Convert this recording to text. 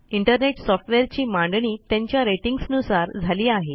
internet सॉफ्टवेअरची मांडणी त्यांच्या रेटिंग्ज नुसार झाली आहे